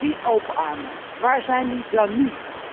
Die open armen, waar zijn die dan nu?